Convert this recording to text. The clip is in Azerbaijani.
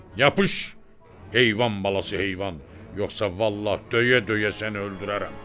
Yapış, heyvan balası heyvan, yoxsa vallah döyə-döyə səni öldürərəm.